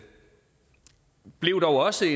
blev dog også